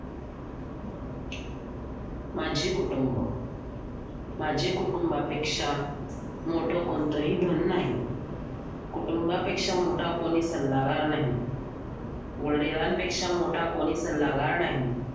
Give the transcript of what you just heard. माझे कुटुंब माझे कुटुंबापेक्षा मोठं कोणतही धन नाही कुटुंबापेक्षा मोठा कोणी सल्लागार नाही वडिलांपेक्षा मोठा कोणी सल्लागार नाही